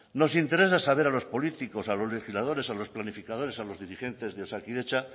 nos interesa saber a los políticos a los legisladores a los planificadores a los dirigentes de osakidetza